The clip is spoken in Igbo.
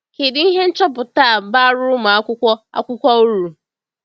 Kedu ihe nchọpụta a bara ụmụ akwụkwọ akwụkwọ uru?